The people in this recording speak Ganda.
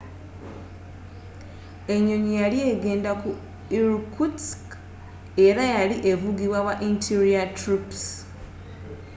enyonyi yali egenda ku irkutsk era yali evugibwa ba interior troops